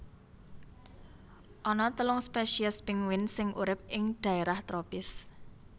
Ana telung spesies pinguin sing urip ing dhaérah tropis